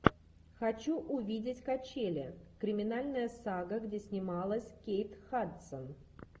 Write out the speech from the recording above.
хочу увидеть качели криминальная сага где снималась кейт хадсон